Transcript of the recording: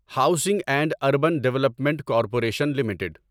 housing and urban development corporation limited